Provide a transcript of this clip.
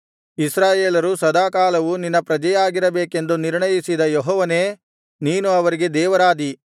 ಇಸ್ರಾಯೇಲರು ಸದಾಕಾಲವೂ ನಿನ್ನ ಪ್ರಜೆಯಾಗಿರಬೇಕೆಂದು ನಿರ್ಣಯಿಸಿದ ಯೆಹೋವನೇ ನೀನು ಅವರಿಗೆ ದೇವರಾದಿ